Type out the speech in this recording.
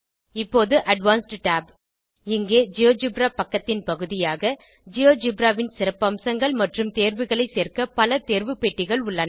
இப்போது advanced Tab இங்கே GeoGebra பக்கத்தின் பகுதியாக ஜியோஜெப்ரா ன் சிறப்பம்சங்கள் மற்றும் தேர்வுகளை சேர்க்க பல தேர்வு பெட்டிகள் உள்ளன